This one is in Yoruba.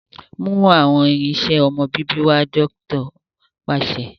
Mú awọn irinṣẹ ọmọ bíbí wá! dókítà paṣẹ